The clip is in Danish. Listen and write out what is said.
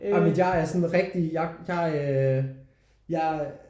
Ej men jeg er sådan rigtig jeg jeg øh jeg